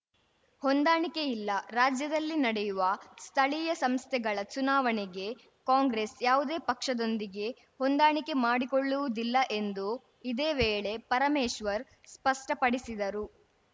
ಹೊಂದಾಣಿಕೆ ಇಲ್ಲ ರಾಜ್ಯದಲ್ಲಿ ನಡೆಯುವ ಸ್ಥಳೀಯ ಸಂಸ್ಥೆಗಳ ಚುನಾವಣೆಗೆ ಕಾಂಗ್ರೆಸ್‌ ಯಾವುದೇ ಪಕ್ಷದೊಂದಿಗೆ ಹೊಂದಾಣಿಕೆ ಮಾಡಿಕೊಳ್ಳುವುದಿಲ್ಲ ಎಂದು ಇದೇ ವೇಳೆ ಪರಮೇಶ್ವರ್‌ ಸ್ಪಷ್ಟಪಡಿಸಿದರು